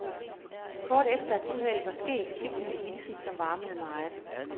Kort efter at uheldet var sket, fik hun en hilsen, som varmede meget.